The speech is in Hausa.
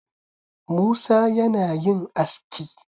Musa yana yin aski